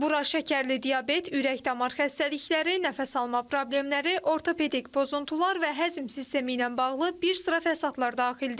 Bura şəkərli diabet, ürək-damar xəstəlikləri, nəfəs alma problemləri, ortopedik pozuntular və həzm sistemi ilə bağlı bir sıra fəsadlar daxildir.